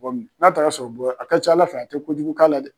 n'a taara sɔrɔ a ka ca ala fɛ, a tɛ kojugu k'a la dɛ!